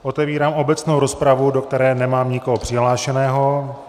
Otevírám obecnou rozpravu, do které nemám nikoho přihlášeného.